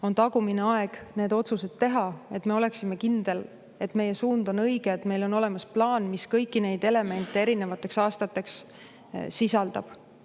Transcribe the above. On tagumine aeg need otsused teha, et me oleksime kindlad, et meie suund on õige, et meil on olemas plaan, mis kõiki neid elemente erinevateks aastateks sisaldab.